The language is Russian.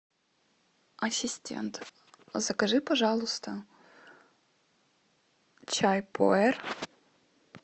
ассистент закажи пожалуйста чай пуэр